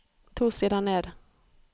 To sider ned